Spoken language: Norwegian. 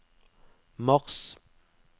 mars